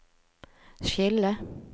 skille